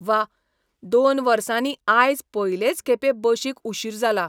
वा, दोन वर्सांनी आयज पयलेच खेपे बशीक उशीर जाला.